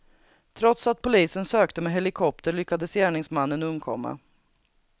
Trots att polisen sökte med helikopter lyckades gärningsmannen undkomma.